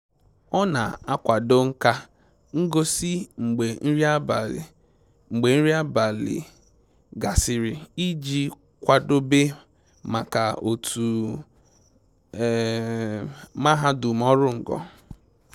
Ọ na akwado nka ngosi mgbe nri abalị mgbe nri abalị gasịrị iji kwadobe maka otu mahadum ọrụ ngo